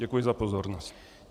Děkuji za pozornost.